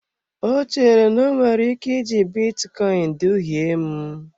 Ọ chere na o nwere ike iji bitcoin duhie m.